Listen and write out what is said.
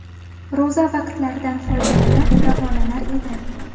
Ro‘za vaqtlaridan foydalanib davolanar edi.